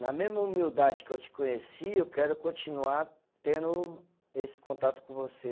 Na mesma humildade que eu te conheci, eu quero continuar tendo esse contato com você.